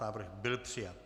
Návrh byl přijat.